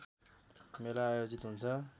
मेला आयोजित हुन्छ